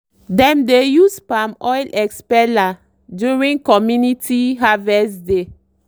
dem dey use palm oil expeller during community harvest day.